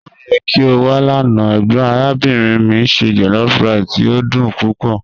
O yẹ ki o wa lana, egbon arabinrin mi se jollofrice ti o dun pupọ.